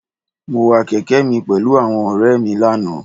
Mo wa kèke mi pèlú àwọn òré è mi lánàá